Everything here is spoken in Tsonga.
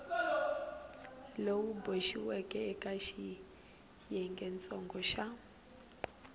lowu boxiweke eka xiyengentsongo xa